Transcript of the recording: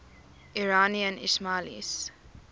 iranian ismailis